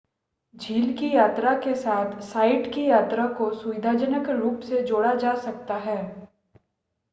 झील की यात्रा के साथ साइट की यात्रा को सुविधाजनक रूप से जोड़ा जा सकता है